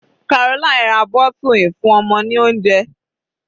Caroline ra bottle ìfúnọmọ ní oúnjẹ.